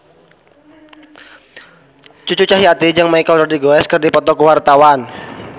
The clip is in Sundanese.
Cucu Cahyati jeung Michelle Rodriguez keur dipoto ku wartawan